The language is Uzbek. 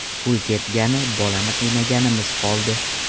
Pul ketgani, bolani qiynaganimiz qoldi.